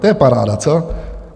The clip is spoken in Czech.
To je paráda, co?